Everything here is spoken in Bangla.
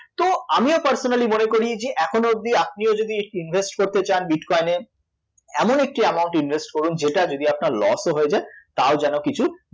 তো আমিও personally মনে করি যে এখনও অবধি আপনিও যদি ই~ invest করতে চান bitcoin এ এমন একটি amount invest করুন যেটা যদি আপনার loss ও হয়ে যায় তাও যেন কিছু